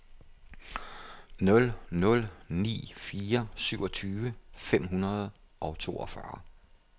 nul nul ni fire syvogtyve fem hundrede og toogfyrre